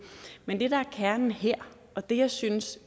men det der er kernen her og det jeg synes